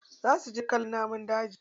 Za su je kallon namun daji.